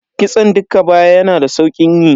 Kitson dukka baya yana da saukin yi.